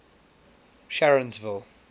sharonsville